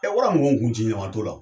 wara mun ko n kun ci ɲama t'o la.